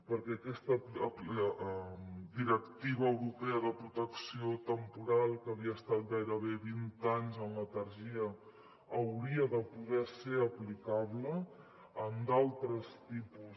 perquè aquesta directiva europea de protecció temporal que havia estat gairebé vint anys en letargia hauria de poder ser aplicable en altres tipus